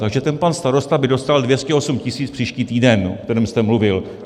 Takže ten pan starosta by dostal 208 tisíc příští týden, o kterém jste mluvil.